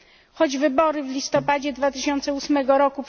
Choć wybory w listopadzie 2008 r.